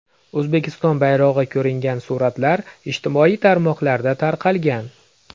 O‘zbekiston bayrog‘i ko‘ringan suratlar ijtimoiy tarmoqlarda tarqalgan .